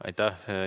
Aitäh!